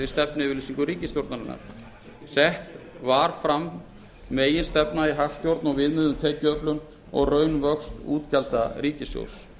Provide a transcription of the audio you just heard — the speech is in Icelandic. stefnuyfirlýsingu ríkisstjórnarinnar sett er fram meginstefna í hagstjórn og viðmið um tekjuöflun og raunvöxt útgjalda ríkissjóðs